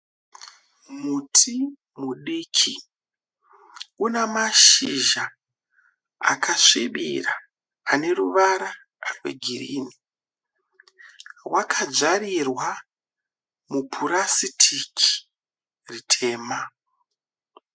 Muti mudiki una mashizha akasvibira ane ruvara rwegirini wakajarirwa mupurasitiki ritema.